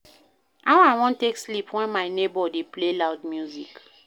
How I wan take sleep wen my nebor dey play loud music?